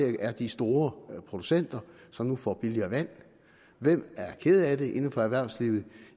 det er de store producenter som nu får billigere vand hvem er kede af det inden for erhvervslivet